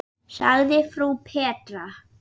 sagði frú Petra.